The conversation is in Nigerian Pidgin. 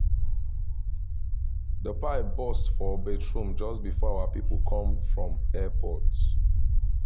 the pipe burst for bathroom just before our people come from airport